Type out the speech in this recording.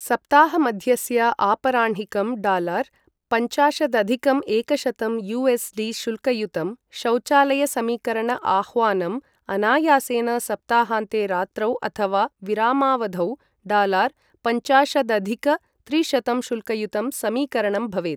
सप्ताहमध्यस्य आपराह्णिकं डालार पञ्चाशदधिक एकशतं यु.एस्.डी. शुल्कयुतं शौचालयसमीकरण आह्वानम् अनायासेन सप्ताहान्ते रात्रौ अथवा विरामावधौ डालार पञ्चाशदधिक त्रिशतं शुल्कयुतं समीकरणं भवेत्।